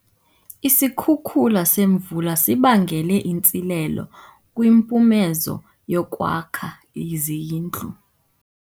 Isikhukula semvula sibangele intsilelo kwimpumezo yokwakha izindlu.